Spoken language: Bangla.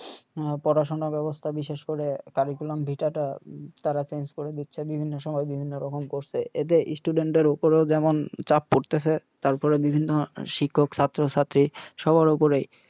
আর পড়াশোনা বেবস্থা বিশেষকরে টা তারা করে দিচ্ছে বিভিন্ন সময় বিভিন্ন রকম করসে এতে এর উপরও যেমন চাপ পরতেসে তারপর বিভিন্ন শিক্ষক ছাত্র ছাত্রী সবার উপরেই